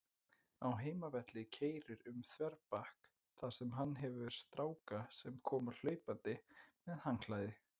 Á heimavelli keyrir um þverbak, þar sem hann hefur stráka sem koma hlaupandi með handklæði.